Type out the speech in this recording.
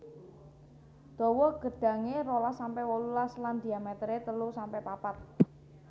Dawa gedhange rolas sampe wolulas lan dhiamétéré telu sampe papat